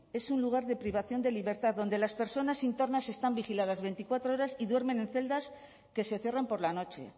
es un lugar de privación de libertad donde las personas internas están vigiladas veinticuatro horas y duermen en celdas que se cierran por la noche